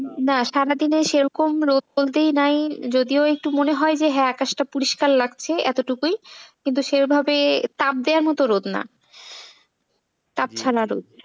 না সারাদিনে সেরকম রোদ বলতেই নাই যদিও সেই রকম একটু মনে হয় যে হ্যাঁ আকাশটা পরিষ্কার লাগছে এতটুকুই, কিন্তু সেই ভাবে তাপ দেওয়ার এত রোদ না তাপ ছাড়া রোদ।